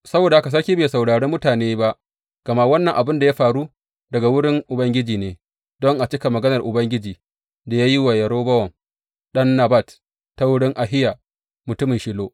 Saboda haka sarki bai saurare mutane ba, gama wannan abin da ya faru daga wurin Ubangiji ne, don a cika maganar Ubangiji da ya yi wa Yerobowam ɗan Nebat ta wurin Ahiya, mutumin Shilo.